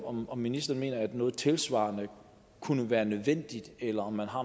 om om ministeren mener at noget tilsvarende kunne være nødvendigt eller om man har